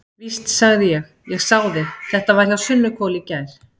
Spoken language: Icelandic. Víst, sagði ég, ég sá þig, þetta var hjá Sunnuhvoli í gær.